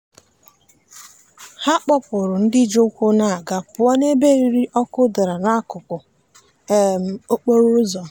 ha kpọpụrụ ndị ji ụkwụ aga pụọ n'ebe eriri ọkụ dara n'akụkụ okporoụzọ.